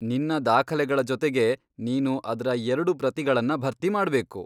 ನಿನ್ನ ದಾಖಲೆಗಳ ಜೊತೆಗೆ ನೀನು ಅದ್ರ ಎರ್ಡು ಪ್ರತಿಗಳ್ನ ಭರ್ತಿ ಮಾಡ್ಬೇಕು.